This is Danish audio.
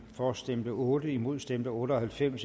for stemte otte imod stemte otte og halvfems